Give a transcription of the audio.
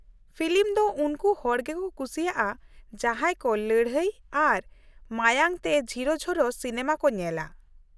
Film ᱫᱚ ᱩᱱᱠᱩ ᱦᱚᱲ ᱜᱮᱠᱚ ᱠᱩᱥᱤᱭᱟᱜᱼᱟ ᱡᱟᱦᱟᱸᱭ ᱠᱚ ᱞᱟᱹᱲᱦᱟᱹᱭ ᱟᱨ ᱢᱟᱭᱟᱝ ᱛᱮ ᱡᱷᱤᱨᱚᱼᱡᱷᱚᱨᱚ ᱥᱤᱱᱮᱢᱟ ᱠᱚ ᱧᱮᱞᱟ ᱾